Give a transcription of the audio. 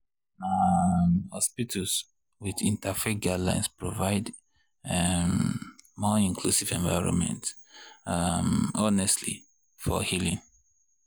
na um hospitals with interfaith guidelines provide um more inclusive environments um honestly for healing.